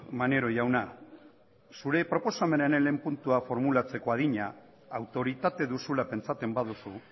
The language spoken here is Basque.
maneiro jauna zure proposamenaren lehen puntua formulatzeko adina autoritate duzula pentsatzen baduzu